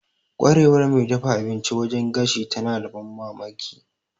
Ƙwarewar mai dafa abinci wajen gashi tana da ban mamaki.